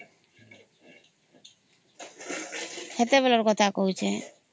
ସେଅଟେ ବେଳେ ର କଥା କହୁଛେ